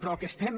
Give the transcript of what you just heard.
però el que estem